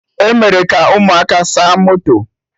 Emere ka ụmụaka saa moto